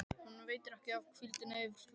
Honum veitir ekki af hvíldinni yfir flóann.